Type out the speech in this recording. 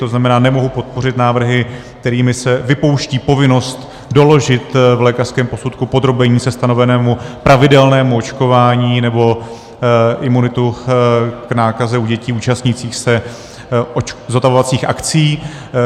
To znamená, nemohu podpořit návrhy, kterými se vypouští povinnost doložit v lékařském posudku podrobení se stanovenému pravidelnému očkování nebo imunitu k nákaze u dětí účastnících se zotavovacích akcí.